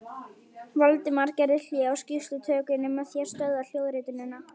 Valdimar gerði hlé á skýrslutökunni með því að stöðva hljóðritunina.